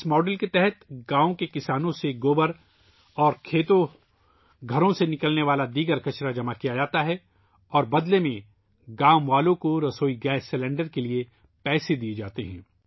اس model کے تحت گاؤں کے کسانوں سے گائے کا گوبر اور دیگر گھریلو کچرا اکٹھا کیا جاتا ہے اور بدلے میں گاؤں والوں کو کھانا پکانے کے گیس سلنڈر کے لیے پیسے دیئے جاتے ہیں